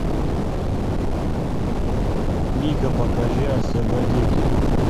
мика покажи освободите